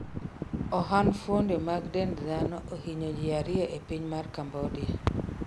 ohand fuonde mag dend dhano ohiny ji ariyo e piny mar Cambodia